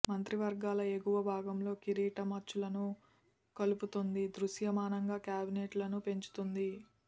మంత్రివర్గాల ఎగువ భాగంలో కిరీటం అచ్చులను కలుపుతోంది దృశ్యమానంగా క్యాబినెట్లను పెంచుతుంది